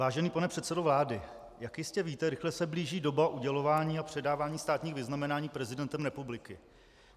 Vážený pane předsedo vlády, jak jistě víte, rychle se blíží doba udělování a předávání státních vyznamenání prezidentem republiky.